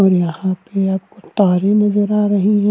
और यहाँ पे याप कारे नजर आ रही है।